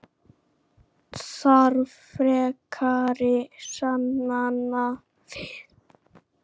Þarf frekari sannana við?